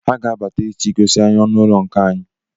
Ha ga-abata echi igosi anyị ọnụụlọ nke anyị